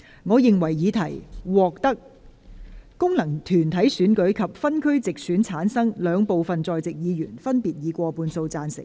我認為議題獲得經由功能團體選舉產生及分區直接選舉產生的兩部分在席議員，分別以過半數贊成。